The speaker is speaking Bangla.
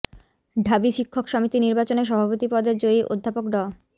ঢাবি শিক্ষক সমিতি নির্বাচনে সভাপতি পদে জয়ী অধ্যাপক ড